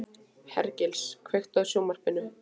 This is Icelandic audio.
Hergils, kveiktu á sjónvarpinu.